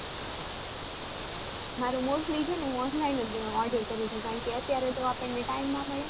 મારુ mostly હું online જ order કરું છું અત્યારે તો time ના મળે